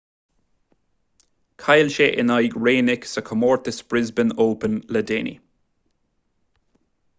chaill sé in aghaidh raonic sa chomórtas brisbane open le déanaí